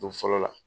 Don fɔlɔ la